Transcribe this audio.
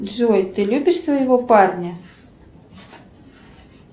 джой ты любишь своего парня